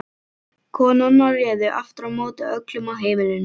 Konurnar réðu aftur á móti öllu á heimilinu.